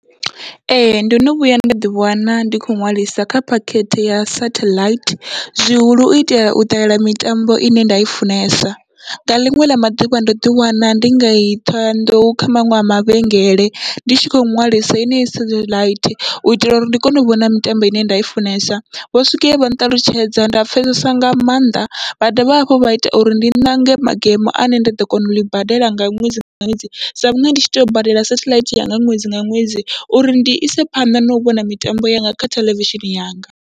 Ee ndo no vhuya nda ḓi wana ndi khou ṅwalisa kha phakhethe ya satheḽaithi, zwihulu uitela u ṱalela mitambo ine nda i funesa, nga ḽiṅwe ḽa maḓuvha ndo ḓi wana ndi ngei Ṱhohoyanḓou kha maṅwe a mavhengele ndi tshi kho ṅwalisa henei sathaḽaithi, u itela uri ndi kone u vhona mitambo ine nda i funesa. Vho swika hevha nṱalutshedza nda pfhesesa nga maanḓa, vha dovha hafhu vha ita uri ndi ṋange magemo ane nda ḓo kona uḽi badela nga ṅwedzi nga ṅwedzi, sa vhunga ndi tshi tea u badela sathaḽaithi yanga ṅwedzi nga ṅwedzi uri ndi ise phanḓa nau vhona mitambo yanga kha theḽevishini yanga.